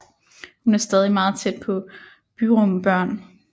Hun er stadig meget tæt på Byrum børn